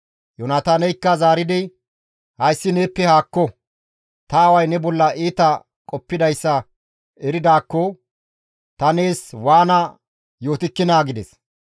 Yoonataaneykka zaaridi, «Hayssi neeppe haakko! Ta aaway ne bolla iita qoppidayssa eridaakko ta nees waana yootikkinaa?» gides.